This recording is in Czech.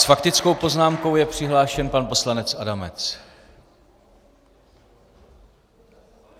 S faktickou poznámkou je přihlášen pan poslanec Adamec.